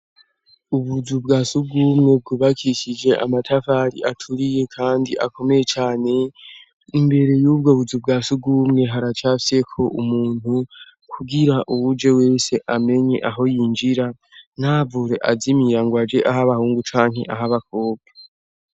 Ubuzu bwa sugumwe bwubakishije amatavari aturiye, kandi akomeye cane imbere y'ubwo buzu bwa sugumwe haracafyeko umuntu kugira uwuje wese amenye aho yinjira ntavure azimiyango aje aho abahungu canke aho abakobwa.